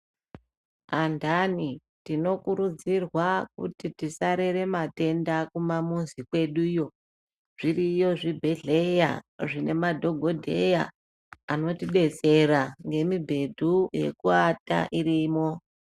Andani tinokurudzirwa kuti tisarere matenda kumamuzi kweduyo. Zviriyo zvibhedhleya zvine madhogodheya anotidetsera ngemibhedhu yekuata irimo.